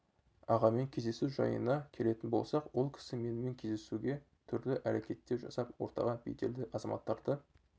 ағамен кездесу жайына келетін болсақ ол кісі менімен кездесуге түрлі әрекеттер жасап ортаға беделді азаматтарды